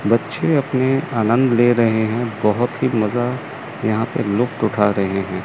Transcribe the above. बच्चे अपने आनंद ले रहें हैं बहोत ही मजा यहाँ पे लुफ्त उठा रहें हैं।